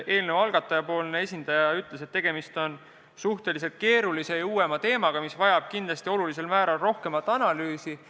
Eelnõu algataja esindaja ütles, et tegemist on suhteliselt keerulise ja uuema teemaga, mis vajab kindlasti olulisel määral rohkemat analüüsi.